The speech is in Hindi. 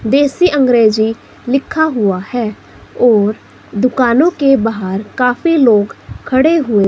देसी अंग्रेजी लिखा हुआ है और दुकानों के बाहर काफी लोग खड़े हुए--